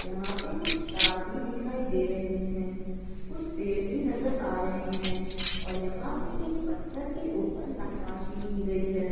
यहाँ पे कुछ तार भी दिखाई दे रहे है कुछ पेड़ भी नजर आ रहे है और यहाँ पे एक पत्थर के ऊपर नकासी की गई है।